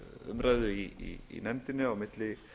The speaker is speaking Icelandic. umræðu í nefndinni á milli